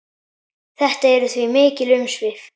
Þetta eru því mikil umsvif.